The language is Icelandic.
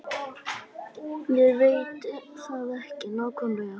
Ég veit það ekki nákvæmlega.